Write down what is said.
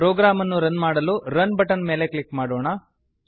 program ಅನ್ನು run ಮಾಡಲು run button ಮೇಲೆ ಕ್ಲಿಕ್ ಮಾಡೋಣ